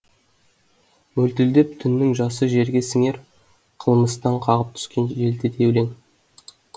мөлтілдеп түннің жасы жерге сіңер қылмастан қағып түскен желді де елең